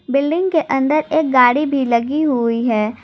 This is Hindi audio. बिल्डिंग के अंदर एक गाड़ी भी लगी हुई है।